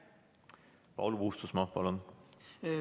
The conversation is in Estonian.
Paul Puustusmaa, palun!